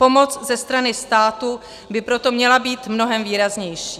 Pomoc ze strany státu by proto měla být mnohem výraznější.